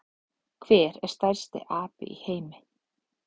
Hver er stærsti api í heimi?